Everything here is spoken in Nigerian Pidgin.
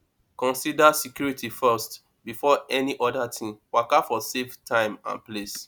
conider security forst before any oda thing waka for safe time and place